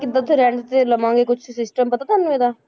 ਕਿੱਦਾਂ ਉੱਥੇ rent ਤੇ ਲਵਾਂਗੇ ਕੁਛ system ਪਤਾ ਤੁਹਾਨੂੰ ਇਹਦਾ,